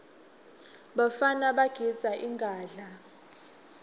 bafana bagidza ingadla